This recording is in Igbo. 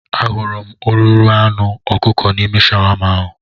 Ahụrụ m ururu anụ ọkụkọ n'ime shawama ahụ